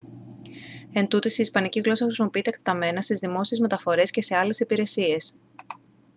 εντούτοις η ισπανική γλώσσα χρησιμοποιείται εκτεταμένα στις δημόσιες μεταφορές και σε άλλες υπηρεσίες